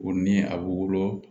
O ni a bɛ wolo